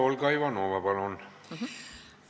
Olga Ivanova, palun!